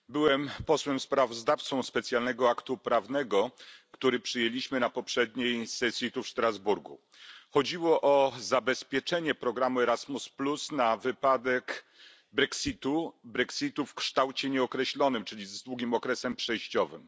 Pani Przewodnicząca! Byłem posłem sprawozdawcą specjalnego aktu prawnego, który przyjęliśmy na poprzedniej sesji, tu, w Strasburgu. Chodziło o zabezpieczenie programu Erasmus na wypadek brexitu, brexitu w kształcie nieokreślonym, czyli z długim okresem przejściowym.